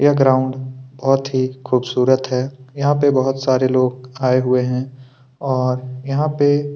यह ग्राउंड बहुत ही खूबसूरत है यहाँ पे बहुत सारे लोग आए हुए है और यहाँ पे --